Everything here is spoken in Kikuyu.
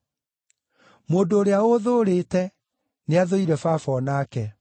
Mũndũ ũrĩa ũũthũũrĩte, nĩathũũire Baba o nake.